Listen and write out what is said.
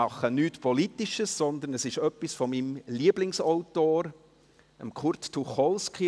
Ich mache nichts Politisches, sondern es ist etwas von meinem Lieblingsautor, Kurt Tucholsky.